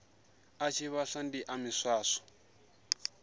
ḽa tshivhasa ndi ḽa miswaswo